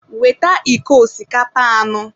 Weta iko osikapa anọ.